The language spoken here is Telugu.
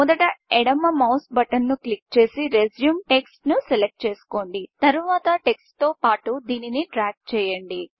మొదట ఎడమ మౌస్ బటన్ ను క్లిక్ చేసి రిజ్యూమ్ టెక్ట్స్ ను సెలక్ట్ చేసుకోండి తరువాత టెక్ట్స్ తో పాటు దానిని డ్రాగ్ చేయండి